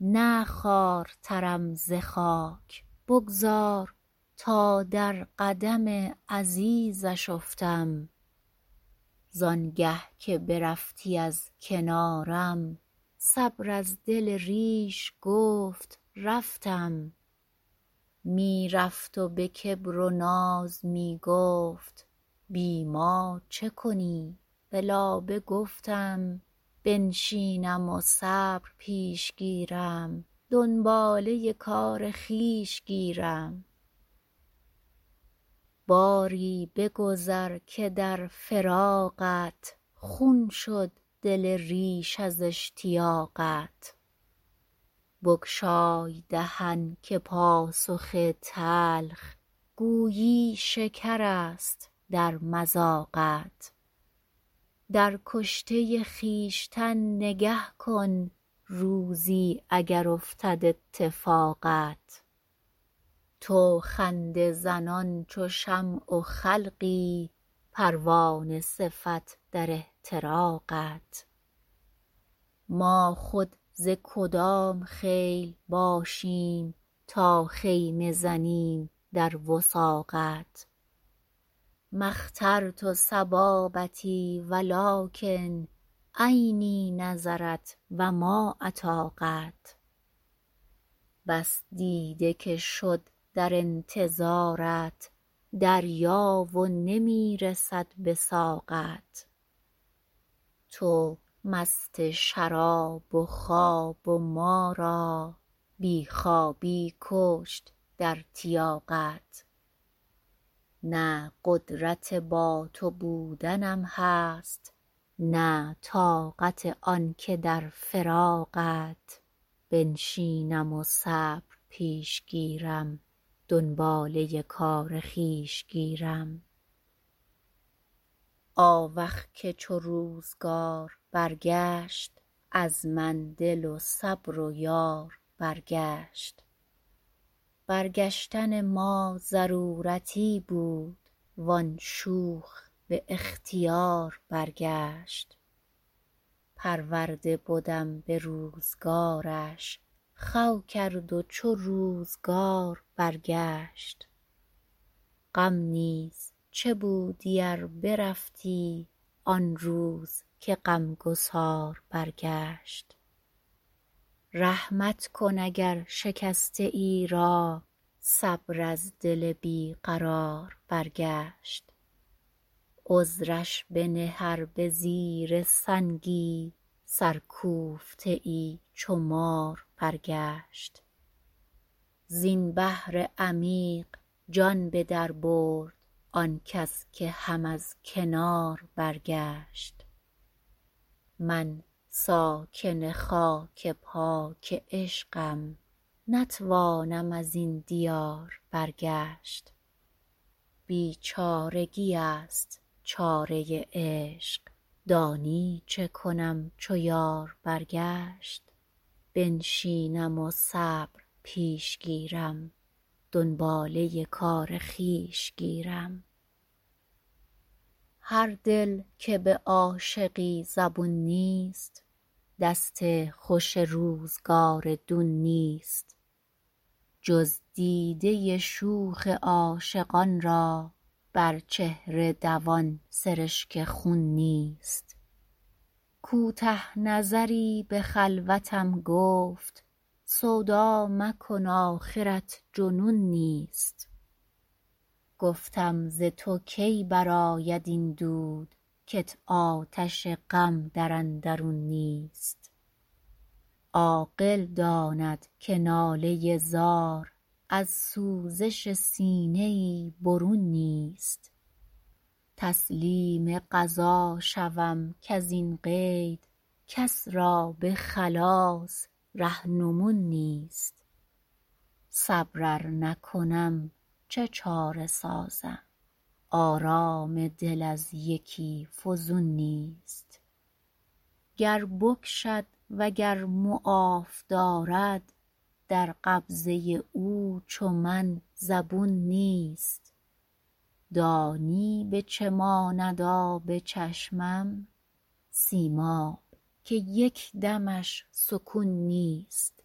نه خوارترم ز خاک بگذار تا در قدم عزیزش افتم زآن گه که برفتی از کنارم صبر از دل ریش گفت رفتم می رفت و به کبر و ناز می گفت بی ما چه کنی به لابه گفتم بنشینم و صبر پیش گیرم دنباله کار خویش گیرم باری بگذر که در فراقت خون شد دل ریش از اشتیاقت بگشای دهن که پاسخ تلخ گویی شکرست در مذاقت در کشته خویشتن نگه کن روزی اگر افتد اتفاقت تو خنده زنان چو شمع و خلقی پروانه صفت در احتراقت ما خود ز کدام خیل باشیم تا خیمه زنیم در وثاقت ما اخترت صبابتی ولکن عینی نظرت و ما اطاقت بس دیده که شد در انتظارت دریا و نمی رسد به ساقت تو مست شراب و خواب و ما را بی خوابی بکشت در تیاقت نه قدرت با تو بودنم هست نه طاقت آن که در فراقت بنشینم و صبر پیش گیرم دنباله کار خویش گیرم آوخ که چو روزگار برگشت از من دل و صبر و یار برگشت برگشتن ما ضرورتی بود وآن شوخ به اختیار برگشت پرورده بدم به روزگارش خو کرد و چو روزگار برگشت غم نیز چه بودی ار برفتی آن روز که غم گسار برگشت رحمت کن اگر شکسته ای را صبر از دل بی قرار برگشت عذرش بنه ار به زیر سنگی سرکوفته ای چو مار برگشت زین بحر عمیق جان به در برد آن کس که هم از کنار برگشت من ساکن خاک پاک عشقم نتوانم ازین دیار برگشت بیچارگی ست چاره عشق دانی چه کنم چو یار برگشت بنشینم و صبر پیش گیرم دنباله کار خویش گیرم هر دل که به عاشقی زبون نیست دست خوش روزگار دون نیست جز دیده شوخ عاشقان را بر چهره دوان سرشک خون نیست کوته نظری به خلوتم گفت سودا مکن آخرت جنون نیست گفتم ز تو کی برآید این دود کت آتش غم در اندرون نیست عاقل داند که ناله زار از سوزش سینه ای برون نیست تسلیم قضا شود کزین قید کس را به خلاص رهنمون نیست صبر ار نکنم چه چاره سازم آرام دل از یکی فزون نیست گر بکشد و گر معاف دارد در قبضه او چو من زبون نیست دانی به چه ماند آب چشمم سیماب که یک دمش سکون نیست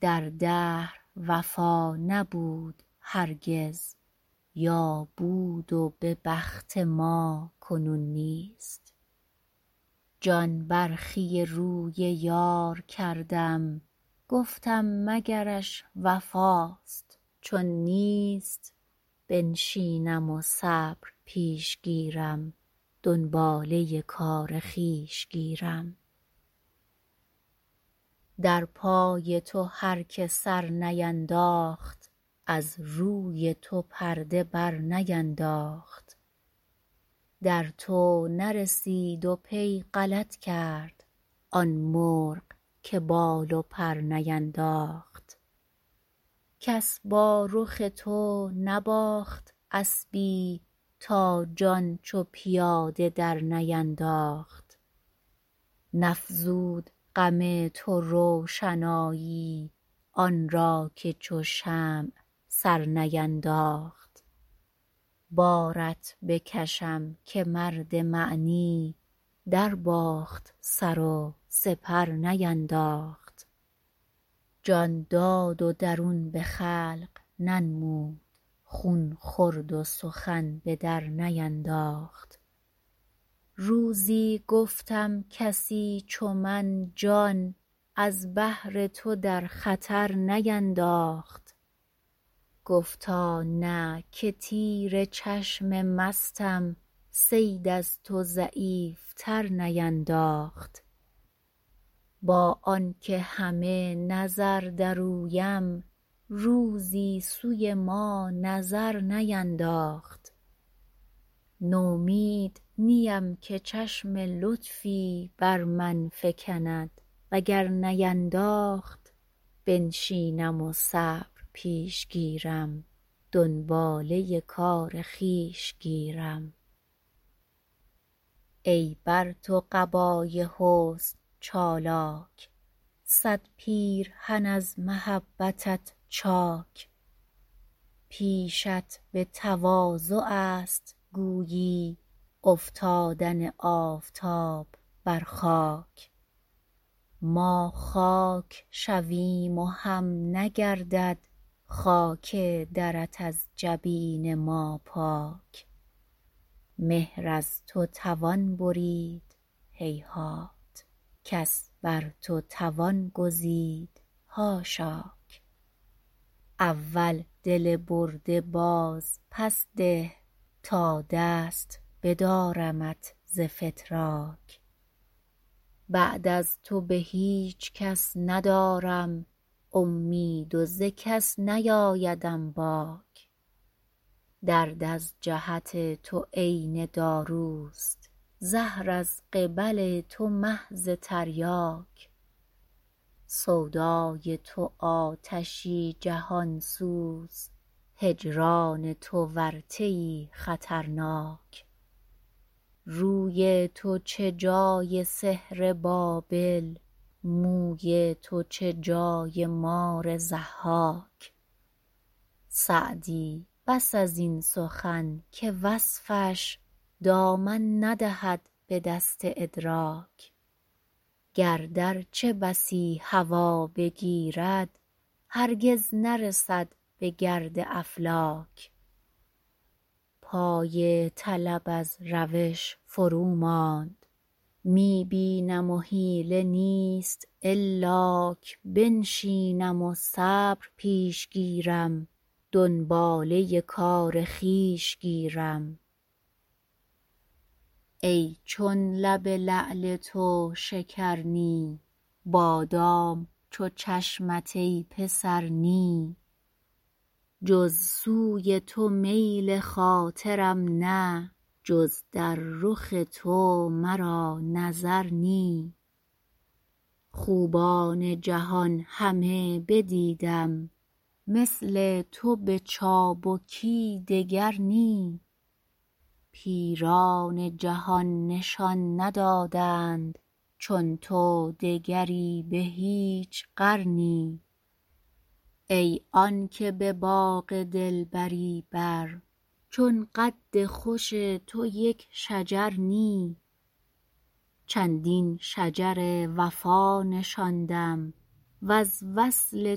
در دهر وفا نبود هرگز یا بود و به بخت ما کنون نیست جان برخی روی یار کردم گفتم مگرش وفاست چون نیست بنشینم و صبر پیش گیرم دنباله کار خویش گیرم در پای تو هر که سر نینداخت از روی تو پرده بر نینداخت در تو نرسید و پی غلط کرد آن مرغ که بال و پر نینداخت کس با رخ تو نباخت اسبی تا جان چو پیاده در نینداخت نفزود غم تو روشنایی آن را که چو شمع سر نینداخت بارت بکشم که مرد معنی در باخت سر و سپر نینداخت جان داد و درون به خلق ننمود خون خورد و سخن به در نینداخت روزی گفتم کسی چو من جان از بهر تو در خطر نینداخت گفتا نه که تیر چشم مستم صید از تو ضعیف تر نینداخت با آن که همه نظر در اویم روزی سوی ما نظر نینداخت نومید نیم که چشم لطفی بر من فکند وگر نینداخت بنشینم و صبر پیش گیرم دنباله کار خویش گیرم ای بر تو قبای حسن چالاک صد پیرهن از محبتت چاک پیشت به تواضع ست گویی افتادن آفتاب بر خاک ما خاک شویم و هم نگردد خاک درت از جبین ما پاک مهر از تو توان برید هیهات کس بر تو توان گزید حاشاک اول دل برده باز پس ده تا دست بدارمت ز فتراک بعد از تو به هیچ کس ندارم امید و ز کس نیآیدم باک درد از جهت تو عین داروست زهر از قبل تو محض تریاک سودای تو آتشی جهان سوز هجران تو ورطه ای خطرناک روی تو چه جای سحر بابل موی تو چه جای مار ضحاک سعدی بس ازین سخن که وصفش دامن ندهد به دست ادراک گرد ارچه بسی هوا بگیرد هرگز نرسد به گرد افلاک پای طلب از روش فرو ماند می بینم و حیله نیست الاک بنشینم و صبر پیش گیرم دنباله کار خویش گیرم ای چون لب لعل تو شکر نی بادام چو چشمت ای پسر نی جز سوی تو میل خاطرم نه جز در رخ تو مرا نظر نی خوبان جهان همه بدیدم مثل تو به چابکی دگر نی پیران جهان نشان ندادند چون تو دگری به هیچ قرنی ای آن که به باغ دلبری بر چون قد خوش تو یک شجر نی چندین شجر وفا نشاندم وز وصل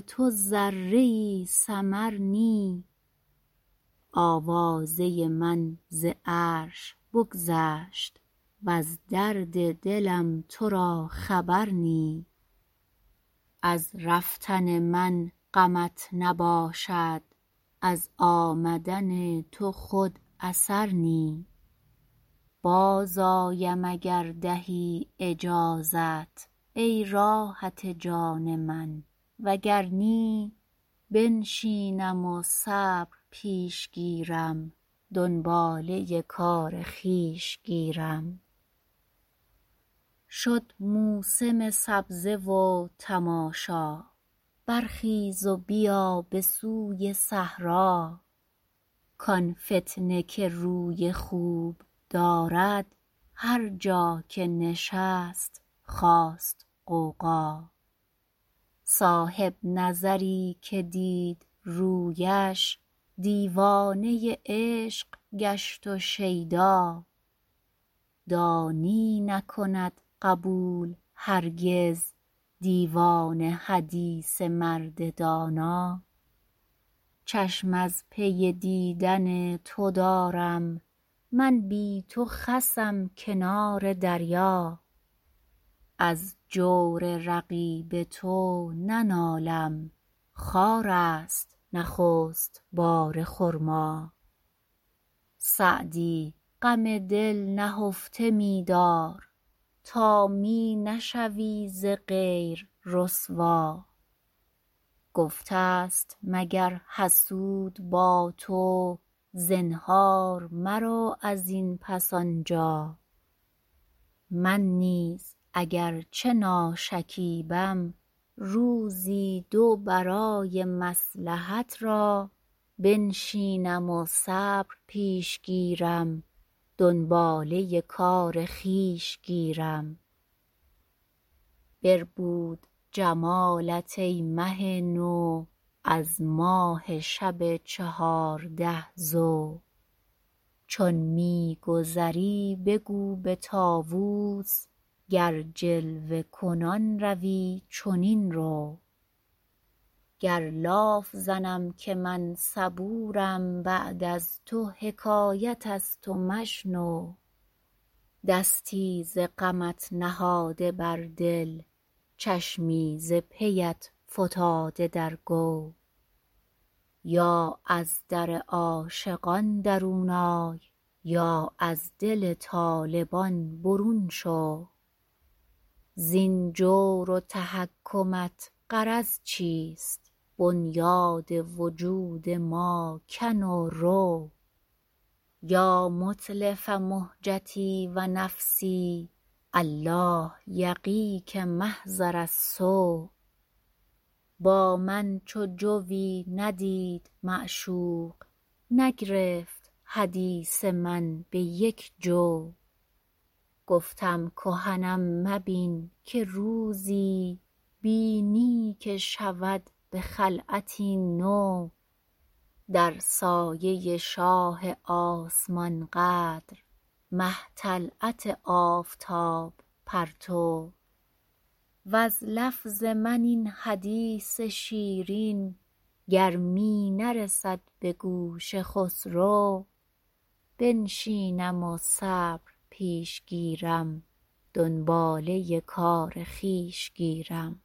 تو ذره ای ثمر نی آوازه من ز عرش بگذشت وز درد دلم تو را خبر نی از رفتن من غمت نباشد از آمدن تو خود اثر نی باز آیم اگر دهی اجازت ای راحت جان من وگر نی بنشینم و صبر پیش گیرم دنباله کار خویش گیرم شد موسم سبزه و تماشا برخیز و بیا به سوی صحرا کآن فتنه که روی خوب دارد هر جا که نشست خاست غوغا صاحب نظری که دید رویش دیوانه عشق گشت و شیدا دانی نکند قبول هرگز دیوانه حدیث مرد دانا چشم از پی دیدن تو دارم من بی تو خسم کنار دریا از جور رقیب تو ننالم خارست نخست بار خرما سعدی غم دل نهفته می دار تا می نشوی ز غیر رسوا گفته ست مگر حسود با تو زنهار مرو ازین پس آنجا من نیز اگر چه ناشکیبم روزی دو برای مصلحت را بنشینم و صبر پیش گیرم دنباله کار خویش گیرم بربود جمالت ای مه نو از ماه شب چهارده ضو چون می گذری بگو به طاوس گر جلوه کنان روی چنین رو گر لاف زنم که من صبورم بعد از تو حکایت ست و مشنو دستی ز غمت نهاده بر دل چشمی ز پیت فتاده در گو یا از در عاشقان درون آی یا از دل طالبان برون شو زین جور و تحکمت غرض چیست بنیاد وجود ما کن و رو یا متلف مهجتی و نفسی الله یقیک محضر السو با من چو جویی ندید معشوق نگرفت حدیث من به یک جو گفتم کهنم مبین که روزی بینی که شود به خلعتی نو در سایه شاه آسمان قدر مه طلعت آفتاب پرتو وز لفظ من این حدیث شیرین گر می نرسد به گوش خسرو بنشینم و صبر پیش گیرم دنباله کار خویش گیرم